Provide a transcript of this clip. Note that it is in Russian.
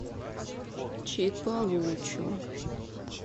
чиполучо